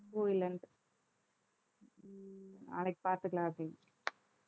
பூ இல்லன்ட்டு நாளைக்கு பார்த்துக்கலாம்